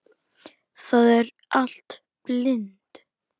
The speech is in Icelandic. Það er allt blint.